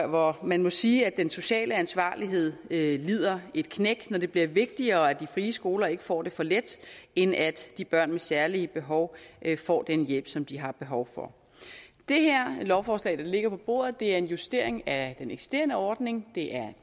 hvor man må sige at den sociale ansvarlighed lider et knæk når det bliver vigtigere at de frie skoler ikke får det for let end at de børn med særlige behov får den hjælp som de har behov for det lovforslag der ligger på bordet er en justering af den eksisterende ordning